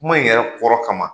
Kuma in yɛrɛ kɔrɔ kama,